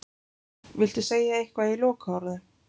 Viltu segja eitthvað í lokaorðum?